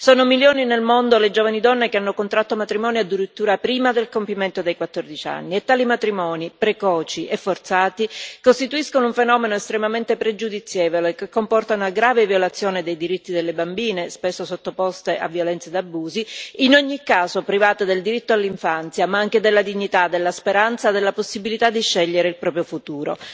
Sono milioni nel mondo le giovani donne che hanno contratto matrimonio addirittura prima del compimento dei 14 anni e tali matrimoni, precoci e forzati, costituiscono un fenomeno estremamente pregiudizievole, che comporta una grave violazione dei diritti delle bambine, spesso sottoposte a violenze ed abusi, in ogni caso private del diritto all'infanzia ma anche della dignità, della speranza e della possibilità di scegliere il proprio futuro.